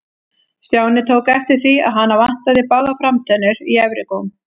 Stjáni tók eftir því að hana vantaði báðar framtennur í efri góm.